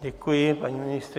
Děkuji paní ministryni.